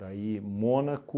Daí, Mônaco,